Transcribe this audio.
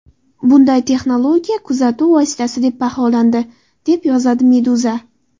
Bunday texnologiya kuzatuv vositasi deb baholandi, deb yozadi Meduza.